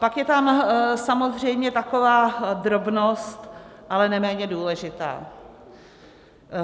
Pak je tam samozřejmě taková drobnost, ale neméně důležitá.